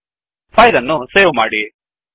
file ಅನ್ನು save ಮಾಡಿ